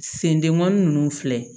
Sendenmanin ninnu filɛ